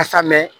Ka sa mɛ